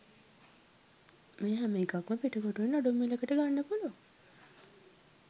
මේ හැමඑකක්ම පිටකොටුවෙන් අඩු මිලකට ගන්න පුලුවන්